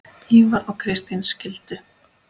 Ívar og Kristín skildu.